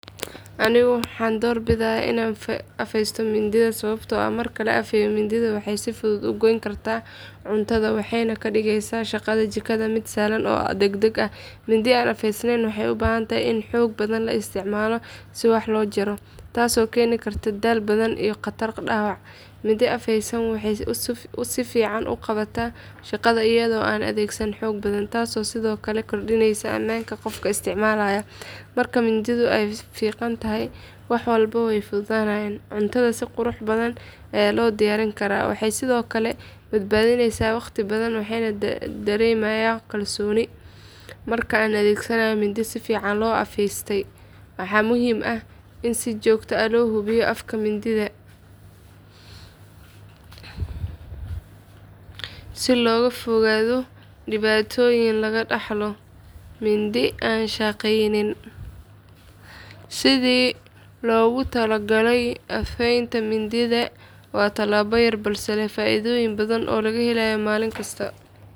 Anigu waxaan doorbidayaa inaan afaysto mindiyaha sababtoo ah marka la afaysto mindi waxay si fudud u goyn kartaa cuntada, waxayna ka dhigeysaa shaqada jikada mid sahlan oo degdeg ah. Mindi aan afeysnayn waxay u baahan tahay in xoog badan la isticmaalo si wax loo jaro, taasoo keeni karta daal badan iyo khatar dhaawac. Mindi afaysan waxay si fiican u qabataa shaqada iyadoo aan la adeegsan xoog badan, taasoo sidoo kale kordhinaysa ammaanka qofka isticmaalaya. Marka mindidu ay fiiqan tahay, wax walba way fududaanayaan, cuntadana si qurux badan ayaa loo diyaarin karaa. Waxay sidoo kale badbaadinaysaa waqti badan, waxaana dareemayaa kalsooni marka aan adeegsanayo mindi si fiican loo afaystay. Waxaa muhiim ah in si joogto ah loo hubiyo afka mindida si looga fogaado dhibaatooyin laga dhaxlo mindi aan shaqaynin sidii loogu talagalay. Afeynta mindidu waa tallaabo yar balse leh faa’iidooyin badan oo laga helayo maalin kasta.